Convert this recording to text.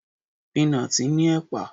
Pínatì ní ẹ̀pà.